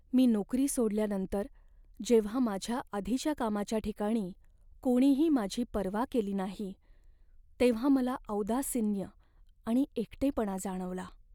मी नोकरी सोडल्यानंतर जेव्हा माझ्या आधीच्या कामाच्या ठिकाणी कोणीही माझी पर्वा केली नाही तेव्हा मला औदासिन्य आणि एकटेपणा जाणवला.